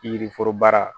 Yiriforo baara